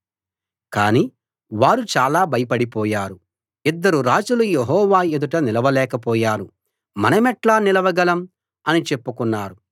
కానీ వారు చాలా భయపడిపోయారు ఇద్దరు రాజులు యెహూ ఎదుట నిలవలేక పోయారు మనమెట్లా నిలవగలం అని చెప్పుకున్నారు